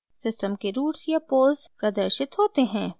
system के roots या poles प्रदर्शित होते हैं